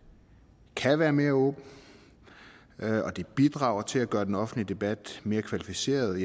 kan være mere åben og det bidrager til at gøre den offentlige debat mere kvalificeret